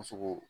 Muso ko